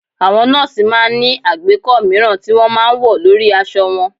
Àwọn nọ́ọ̀sì máa ń ní àgbékọ́ mìíràn tí wọ́n máa ń wọ̀ lórí aṣọ wọn